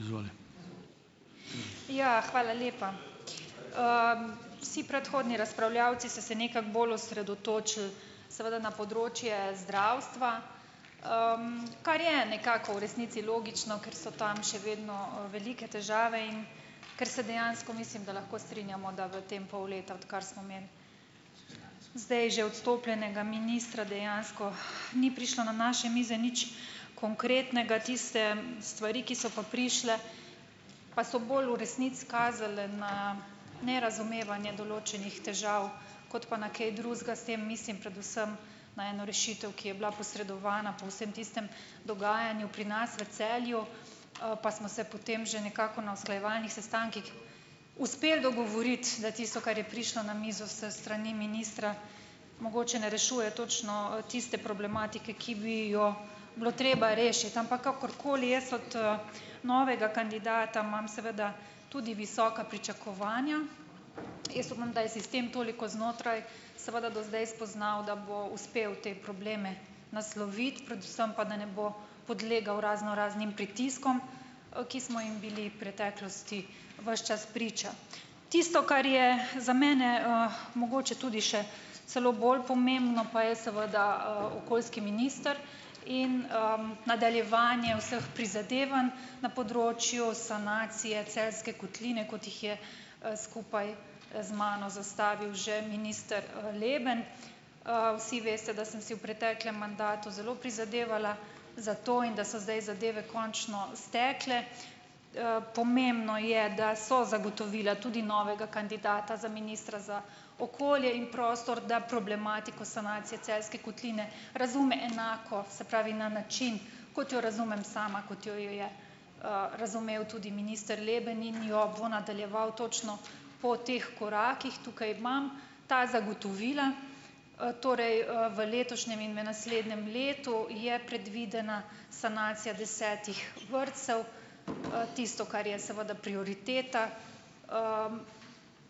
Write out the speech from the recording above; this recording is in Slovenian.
Izvoli. Ja, hvala lepa. vsi predhodni razpravljavci so se nekako bolj osredotočili seveda na področje zdravstva, kar je nekako v resnici logično, ker so tam še vedno, velike težave in ker se dejansko mislim, da lahko strinjamo, da v tem pol leta, odkar smo imeli zdaj že odstopljenega ministra dejansko, ni prišlo na naše mize nič konkretnega, tiste stvari, ki so pa prišle, pa so bolj v resnici kazale na nerazumevanje določenih težav kot pa na kaj drugega, s tem mislim predvsem na eno rešitev, ki je bila posredovana po vsem tistem dogajanju pri nas v Celju, pa smo se potem že nekako na usklajevalnih sestankih uspeli dogovoriti, da tisto, kar je prišlo na mizo s strani ministra, mogoče ne rešuje točno, tiste problematike, ki bi jo bilo treba rešiti, ampak kakorkoli jaz od, novega kandidata imam seveda tudi visoka pričakovanja, jaz upam, da je sistem toliko znotraj seveda do zdaj spoznal, da bo uspel te probleme nasloviti, predvsem pa da ne bo podlegel raznoraznim pritiskom, ki smo jim bili preteklosti ves čas priča. Tisto, kar je za mene, mogoče tudi še celo bolj pomembno pa je seveda, okoljski minister in, nadaljevanje vseh prizadevanj na področju sanacije Celjske kotline, kot jih je, skupaj, z mano zastavil že minister, Leben. vsi veste, da sem si v preteklem mandatu zelo prizadevala za to in da so zdaj zadeve končno stekle, pomembno je, da so zagotovila tudi novega kandidata za ministra za okolje in prostor, da problematiko sanacije Celjske kotline razume enako, se pravi na način, kot jo razumem sama, kot jo, jo je, razumel tudi minister Leben in jo bo nadaljeval točno po teh korakih, tukaj imam ta zagotovila, torej, v letošnjem in v naslednjem letu je predvidena sanacija desetih vrtcev , tisto, kar je seveda prioriteta,